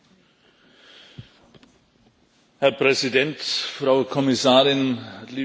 Herr Präsident, Frau Kommissarin, liebe Kolleginnen und Kollegen!